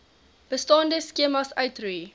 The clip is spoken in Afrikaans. bestaande skemas uitroei